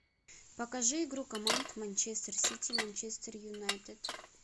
покажи игру команд манчестер сити манчестер юнайтед